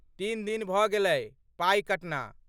तीन दिन भऽ गेलै पाइ कटना।